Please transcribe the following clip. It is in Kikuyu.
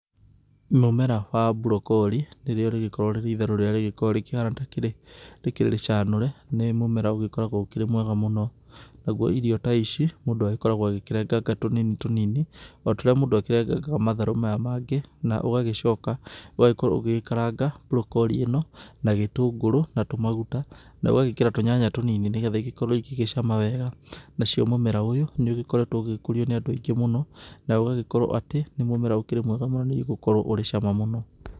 Mũmera wa brocolli, nĩrĩo rĩgĩkoragwo rĩrĩ itharũ rĩrĩa rĩgĩkoragwo rĩkĩhana takĩrĩ rĩkĩrĩ rĩcanũre, nĩ mũmera ũgĩkoragwo ũkĩrì mwega mũno. Naguo irio ta ici, mũndũ agĩkoragwo agĩkĩrenganga tũnini tũnini o ta ũrĩa mũndũ akĩrengangaga matharũ maya mangĩ naũgagĩcoka, ũgakorwo ũgĩgĩkaranga brocolli ĩno na gĩtũngũrũ, na tũmaguta, na ũgagĩkĩra tũnyanya tũnini, nĩgetha igĩkorwo igĩgĩcama wega. Nacio mũmera ũyũ nĩũgĩkoretwo ũgĩgĩkũrio nĩ andũ aingĩ mũno, na ũgagĩkorwo atĩ nĩ mũmera ũkĩrĩ mwega mũno, nĩ gũkorwo ũrĩ cama mũno.